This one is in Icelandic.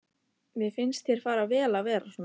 Mér finnst þér fara vel að vera svona.